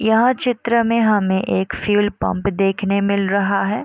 यह चित्र में हमें एक फ्यूल पंप देखने मिल रहा है।